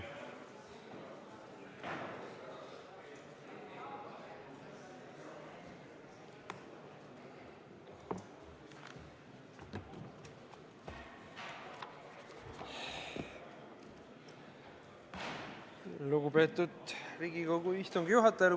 Lugupeetud Riigikogu istungi juhataja!